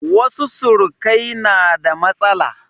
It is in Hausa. Wasu surukai na da matsala.